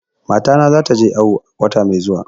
Matana za ta je awo wata mai zuwa